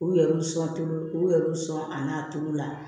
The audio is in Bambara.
U yɛrɛ bi sɔn u yɛrɛ bi sɔn a n'a togo la